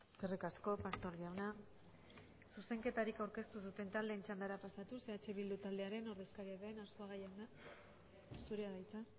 eskerrik asko pastor jauna zuzenketarik aurkeztu duten taldeen txandara pasatuz eh bildu taldearen ordezkaria den arzuaga jauna zurea da hitza